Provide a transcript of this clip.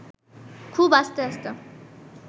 খুব আস্তে আস্তে